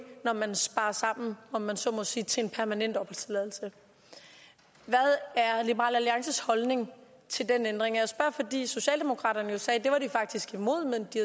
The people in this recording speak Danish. når man sparer sammen om jeg så må sige til en permanent opholdstilladelse hvad er liberal alliances holdning til den ændring jeg spørger fordi socialdemokraterne sagde at det var de faktisk imod men at de